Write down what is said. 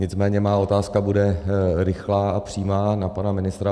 Nicméně má otázka bude rychlá a přímá na pana ministra.